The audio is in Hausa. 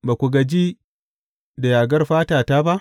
Ba ku gaji da yagar fatata ba?